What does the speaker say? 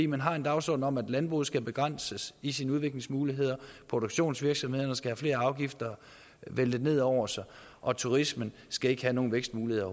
man har en dagsorden om at landbruget skal begrænses i sine udviklingsmuligheder produktionsvirksomhederne skal have flere afgifter væltet ned over sig og turismen skal ikke have nogen vækstmuligheder